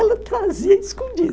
Ela trazia escondido.